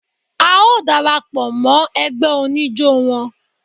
A ó dara pọ̀ mọ́ ẹgbẹ́ oníjó wọn.